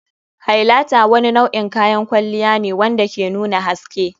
Highlighter wani nau'in kayan kwalliya ne wanda ke nuna haske.